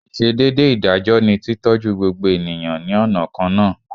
Ìsedédé ìdájọ́ ni tí tọ́jú gbogbo ènìyàn ní ọ̀nà kan náà